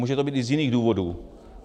Může to být i z jiných důvodů.